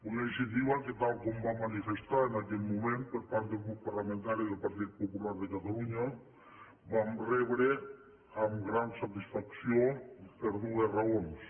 una iniciativa que tal com va manifestar en aquell moment el grup parlamentari del partit popular de catalunya vam rebre amb gran satisfacció per dues raons